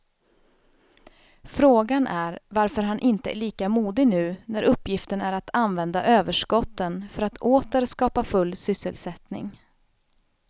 Frågan är varför han inte är lika modig nu när uppgiften är att använda överskotten för att åter skapa full sysselsättning.